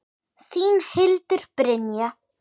Þín, Hildur Brynja.